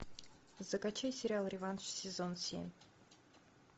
закачай сериал реванш сезон семь